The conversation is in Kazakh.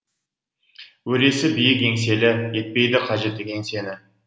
өресі биік еңселі етпейді қажет кеңсені